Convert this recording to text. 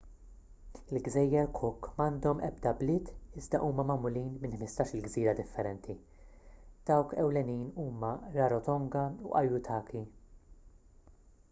il-gżejjer cook m'għandhom ebda bliet iżda huma magħmulin minn 15-il gżira differenti dawk ewlenin huma rarotonga u aitutaki